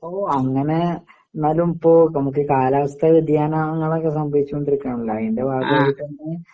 ഓ അങ്ങനെ ന്നാലും പ്പോ നമ്മക്ക് കാലാവസ്ഥാ വ്യതിയാനാങ്ങളൊക്കെ സംഭവിച്ചുകൊണ്ടിരിക്കയാണല്ലോ അയിൻ്റെ ഭാഗായിട്ടന്നെ